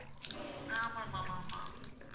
ஆமா ma'am ஆமா